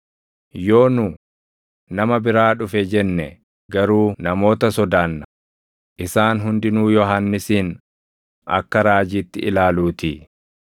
Yoo nu, ‘Nama biraa dhufe’ jenne garuu namoota sodaanna; isaan hundinuu Yohannisin akka raajiitti ilaaluutii.”